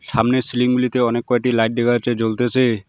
সামনের সিলিং -গুলিতে অনেক কয়টি লাইট দেখা যাচ্ছে জ্বলতেসে।